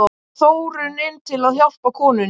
Svo fór Þórunn inn til að hjálpa konunni.